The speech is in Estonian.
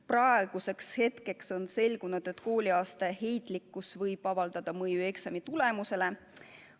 Praeguseks on selgunud, et kooliaasta heitlikkus võib eksamitulemustele mõju avaldada.